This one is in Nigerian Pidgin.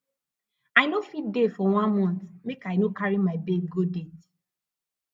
i no fit dey for one mont make i no carry my babe go date